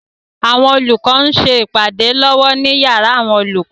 Àwọn olùkọ ń ṣe ìpàdé lọ́wọ́ ní yàrá àwọn olùkọ.